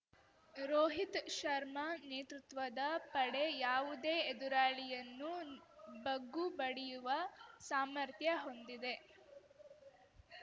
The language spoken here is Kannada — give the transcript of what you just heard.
ರೋಹಿತ್‌ ಶರ್ಮಾ ನೇತೃತ್ವದ ಪಡೆ ಯಾವುದೇ ಎದುರಾಳಿಯನ್ನು ಬಗ್ಗುಬಡಿಯುವ ಸಾಮರ್ಥ್ಯ ಹೊಂದಿದೆ